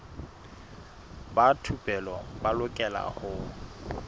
ba thupelo ba lokela ho